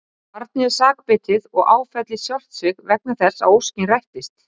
Barnið er sakbitið og áfellist sjálft sig vegna þess að óskin rættist.